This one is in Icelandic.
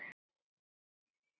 Það höfðum við ekki heldur.